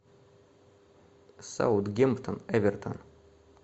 саутгемптон эвертон